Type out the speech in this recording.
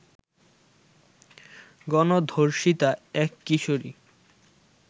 গণধর্ষিতা এক কিশোরী